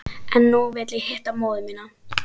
En nú vil ég hitta móður mína.